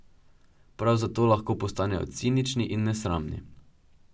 Prav zato lahko postanejo cinični in nesramni.